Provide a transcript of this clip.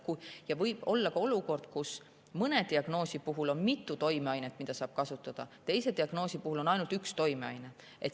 Ja võib olla ka olukord, kus mõne diagnoosi puhul on mitu toimeainet, mida saab kasutada, teise diagnoosi puhul on ainult üks toimeaine.